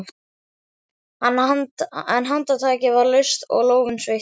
En handtakið var laust og lófinn sveittur.